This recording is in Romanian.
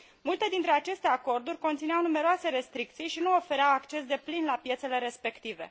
Multe dintre aceste acorduri conțineau numeroase restricții și nu ofereau acces deplin la piețele respective.